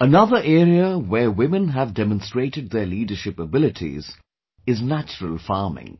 Another area where women have demonstrated their leadership abilities is natural farming,